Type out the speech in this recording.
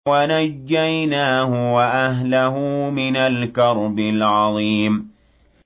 وَنَجَّيْنَاهُ وَأَهْلَهُ مِنَ الْكَرْبِ الْعَظِيمِ